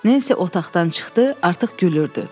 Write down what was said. Nensi otaqdan çıxdı, artıq gülürdü.